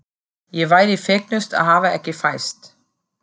Ég væri fegnust að hafa ekki fæðst.